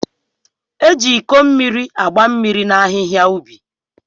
E ji Iko mmiri agba mmiri na ahịhịa ubi.